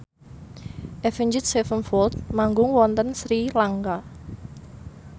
Avenged Sevenfold manggung wonten Sri Lanka